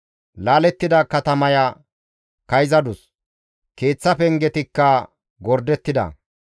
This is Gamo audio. Laalettida katamaya kayzadus; keeththa pengetikka gordettida.